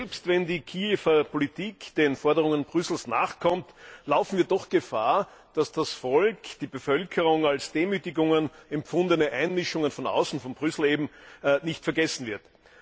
Und selbst wenn die Kiewer Politik den Forderungen Brüssels nachkommt, laufen wir doch Gefahr, dass das Volk, die Bevölkerung als Demütigungen empfundene Einmischungen von außen, von Brüssel eben, nicht vergessen wird.